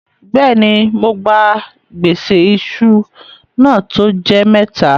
Bẹ́ẹ̀ni, mó gbà gbèsè ìṣù náà tó jẹ́ mẹ́tà.